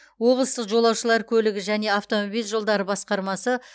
облыстық жолаушылар көлігі және автомобиль жолдары басқармасы